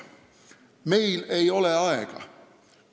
Meil ei ole aega.